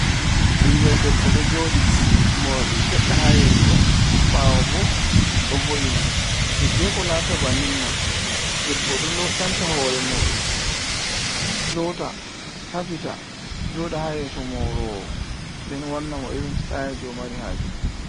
Ɓinngel debbo ɗo jooɗi, moorɗi seɗɗa haa yeeso, ɓaawo bo ɗo vo’ini. Hiddeko laata bannin man, debbo ɗo canca hoore muuɗum, loota, safita, jooɗa haa yeeso moorowo. Nden wanna mo, irin sitayel jey o mari haaje.